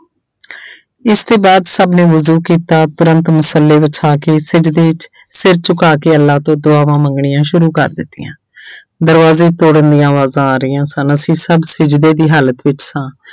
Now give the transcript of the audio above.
ਇਸਦੇ ਬਾਅਦ ਸਭ ਨੇ ਵੁਜੂ ਕੀਤਾ ਉਪਰੰਤ ਮੁਸ਼ੱਲੇ ਵਿਛਾ ਕੇ ਸਿਜਦੇ ਸਿਰ ਝੁਕਾ ਕੇ ਅੱਲਾ ਤੋਂ ਦੁਆਵਾਂ ਮੰਗਣੀਆਂ ਸ਼ੁਰੂ ਕਰ ਦਿੱਤੀਆਂ ਦਰਵਾਜ਼ੇ ਤੋੜਨ ਦੀਆਂ ਆਵਾਜ਼ਾਂ ਆ ਰਹੀਆਂ ਸਨ ਅਸੀਂ ਸਭ ਸਿੱਜਦੇ ਦੀ ਹਾਲਤ ਵਿੱਚ ਸਾਂ।